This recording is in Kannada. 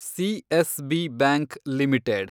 CSB bank limited